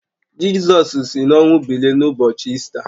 Jizọs si n’ọnwụ bilie n’ụbọchị Ista